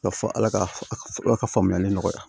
Ka fɔ ala ka faamuyali nɔgɔya